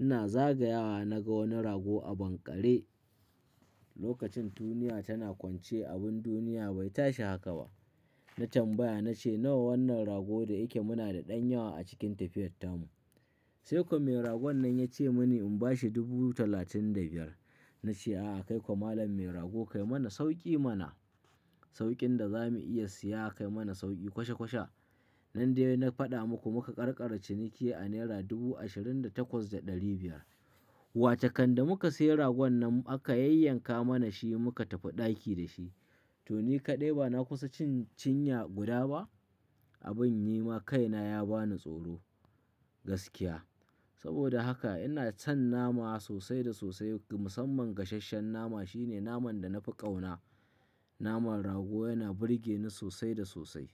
ina zagayawa na ga wani rago a banƙare. Lokacin duniya tana kwance abin duniya bai tashi haka ba. Na tambaya na ce nawa wannan ragon da yake muna da ɗan yawa a cikin tafiyartarmu. Sai kuwa mai ragon nan ya ce mini in bashi dubu talatin da biyar. Na ce a'a kai kuwa malam mai rago kai mana sauki mana saukin da za mu iya siya kai mana sauki kwashe kwashe. Nan dai na faɗa muku muka ƙarƙara ciniki a naira dubu ashirin da takwas da ɗari biyar wace kanda muka sayi ragon nan aka yayyanka mana shi muka tafi ɗaki da shi. To ni kaɗai ba na kusa cin cinya guda ba. Abin yi ma kaina ya bani tsoro gaskiya. Saboda haka ina son nama sosai da sosai musamman gasasshen nama shine naman da na fi ƙauna. Naman rago yana burgeni sosai da sosai.